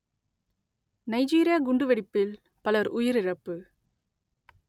Nigeria குண்டுவெடிப்பில் பலர் உயிரிழப்பு